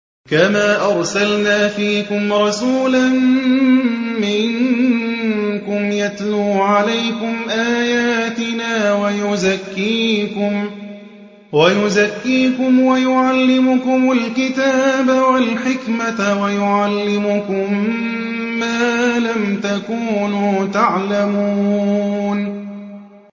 كَمَا أَرْسَلْنَا فِيكُمْ رَسُولًا مِّنكُمْ يَتْلُو عَلَيْكُمْ آيَاتِنَا وَيُزَكِّيكُمْ وَيُعَلِّمُكُمُ الْكِتَابَ وَالْحِكْمَةَ وَيُعَلِّمُكُم مَّا لَمْ تَكُونُوا تَعْلَمُونَ